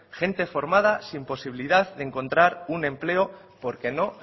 gente formada sin posibilidad de encontrar un empleo porque no